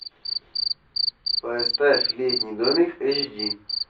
поставь летний домик эйч ди